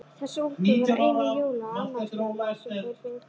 Þessar úlpur voru einu jóla- og afmælisgjafirnar sem þeir fengu.